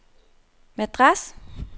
Madras